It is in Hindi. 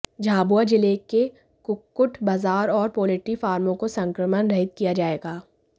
झाबुआ जिले के कुक्कुट बाजार और पोल्ट्री फार्मों को संक्रमण रहित किया जायेगा